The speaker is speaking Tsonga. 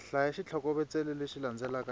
hlaya xitlhokovetselo lexi landzelaka hi